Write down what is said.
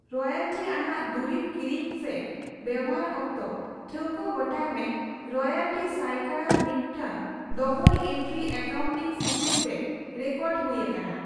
ᱨᱚᱭᱟᱞᱴᱤᱼᱟᱱᱟᱜ ᱫᱩᱨᱤᱵ ᱠᱤᱨᱤᱧ ᱥᱮ ᱵᱮᱣᱦᱟᱨ ᱚᱠᱛᱚ, ᱴᱷᱟᱹᱣᱠᱟᱹ ᱜᱚᱴᱟᱭ ᱢᱮ ᱨᱚᱭᱟᱞᱴᱤ ᱥᱟᱭᱠᱟᱲᱟ ᱢᱤᱫᱴᱟᱝ ᱰᱚᱵᱚᱞ ᱮᱱᱴᱨᱤ ᱮᱠᱟᱣᱩᱱᱴᱤᱝ ᱥᱤᱥᱴᱮᱢ ᱨᱮ ᱨᱮᱠᱚᱨᱰ ᱦᱩᱭ ᱟᱠᱟᱱᱟ ᱾